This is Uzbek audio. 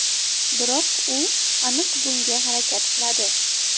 Biroq u aniq bunga harakat qiladi.